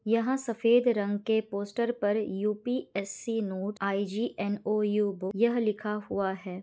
यहाँ सफ़ेद रंग के पोस्टर पर यू.पी.एस.सी. Note IGNOU. बुक यह लिखा हुआ है।